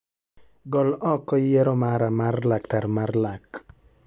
Gol oko yiero mara mar laktar mar lak